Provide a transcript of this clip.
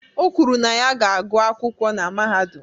O kwuru na ya ga-agụ akwụkwọ na mahadum.